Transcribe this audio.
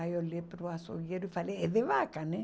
Aí olhei para o açougueiro e falei, é de vaca, né?